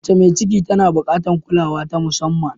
Mace mai ciki tana buƙatar kulawa ta musamman.